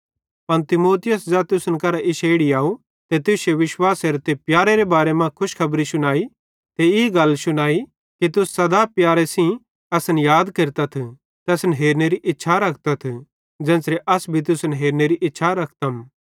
पन तीमुथियुसे ज़ै तुसन करां इश्शे इड़ी अव ते तुश्शे विश्वासेरे ते प्यारेरे बारे मां खुशखबरी शुनाई ते ई गल भी शुनाई कि तुस सदा प्यारे सेइं असन याद केरतथ ते असन हेरनेरी इच्छा रखतथ ज़ेन्च़रे अस भी तुसन हेरनेरी इच्छा रखतम